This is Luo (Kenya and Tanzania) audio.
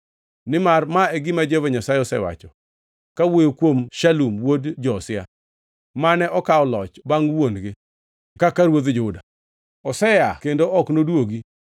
Nimar ma e gima Jehova Nyasaye osewacho kawuoyo kuom Shalum wuod Josia, mane okawo loch bangʼ wuon-gi kaka ruodh Juda, “Osea ka kendo ok nodwogi.